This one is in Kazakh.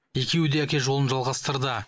екеуі де әке жолын жалғастырды